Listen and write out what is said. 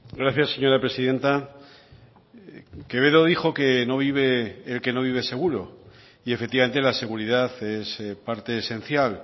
gracias señora presidenta quevedo dijo que no vive el que no vive seguro y efectivamente la seguridad es parte esencial